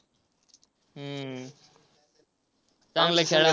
हम्म चांगलं आहे खेळा.